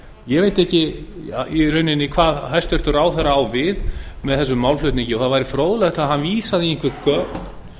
ég veit ekki í rauninni hvað hæstvirtur ráðherra á við með þessum málflutningi það væri fróðlegt ef hann vísaði í einhver gögn